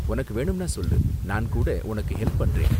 உனக்கு வேணும்னா சொல்லு, நான் கூட உனக்கு ஹெல்ப் பண்றேன்.